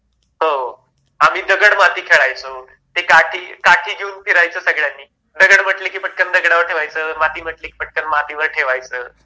हो आम्ही दगड माती खेळायचो ते काठी घेऊन फिरायचं सगळ्यांनी दगड म्हटलं की पटकन दगडावर ठेवायचे माती म्हटलं की पटकन माती वर ठेवायचं